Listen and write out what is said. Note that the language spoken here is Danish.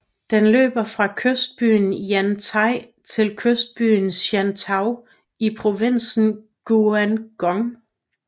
Den løber fra kystbyen Yantai til kystbyen Shantou i provinsen Guangdong